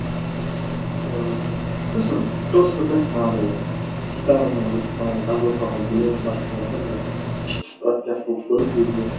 ыыы сосын просто так манағыдай гитараның манағыдай жазыла салған өлеңнің басып қалғанда бір іш пыстыратын сияқты болып көрінеді өзіме